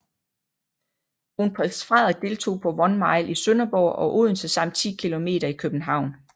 Kronprins Frederik deltog på One Mile i Sønderborg og Odense samt 10 km i København